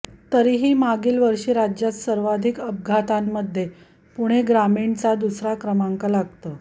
तरीही मागील वर्षी राज्यात सर्वाधिक अपघातांमध्ये पुणे ग्रामीणचा दुसरा क्रमांक लागतो